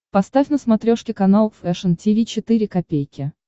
поставь на смотрешке канал фэшн ти ви четыре ка